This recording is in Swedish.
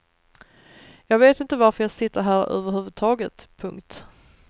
Jag vet inte varför jag sitter här överhuvudtaget. punkt